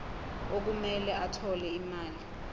okumele athole imali